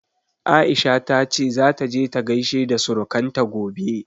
Aisha ta ce zata je ta gaishe da surukanta gobe.